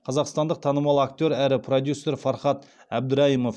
қазақстандық танымал актер әрі продюсер фархат әбдірайымов